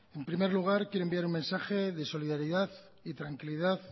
en primer lugar quiero enviar un mensaje de solidaridad y tranquilidad